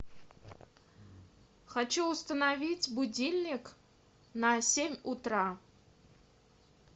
хочу установить будильник на семь утра